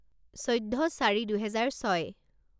চৈধ্য চীৰি দুহেজাৰ ছয়